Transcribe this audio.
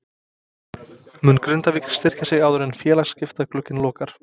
Mun Grindavík styrkja sig áður en félagaskiptaglugginn lokar?